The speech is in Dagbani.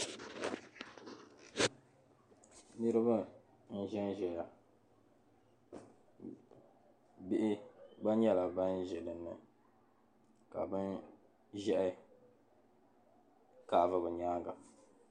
Niriba n-ʒen ʒeya bihi gba nyɛla ban ʒe dinni ka bin'ʒehi kaavi be nyaaŋa.